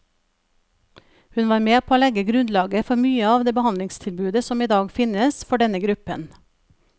Hun var med på å legge grunnlaget for mye av det behandlingstilbudet som i dag finnes for denne gruppen.